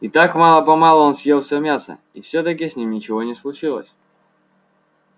и так мало помалу он съел всё мясо и всё-таки с ним ничего не случилось